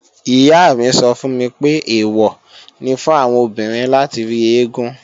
Ìyá mi sọ fún mi pé, èwọ̀ ni fún àwọn obìnrin láti rí eégún